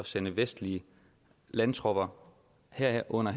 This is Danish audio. sende vestlige landtropper herunder